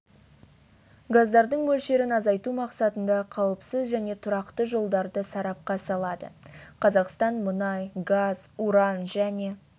газдардың мөлшерін азайту мақсатында қауіпсіз және тұрақты жолдарды сарапқа салады қазақстан мұнай газ уран және